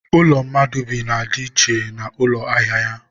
ụlọ mmadụ bi na ya dị iche na ụlọ ahịa ya.